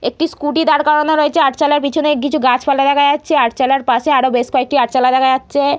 একটি স্কোটি দাঁড় করানো রয়েছে আরচালার পিছনে কিছু গাছপালা দেখা যাচ্ছে আরচালার পাশে আরো কিছু আরচালা দেখা যাচ্ছে।